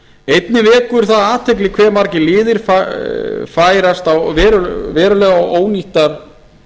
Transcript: einnig vekur athygli hve margir liðir færa verulega ónýttar